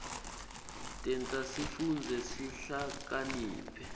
tenta sifundze sihlakaniphe